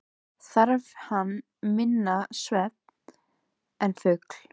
Þarf hann minna svefn en fugl.